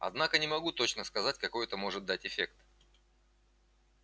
однако не могу точно сказать какой это может дать эффект